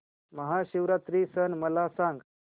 महाशिवरात्री सण मला सांग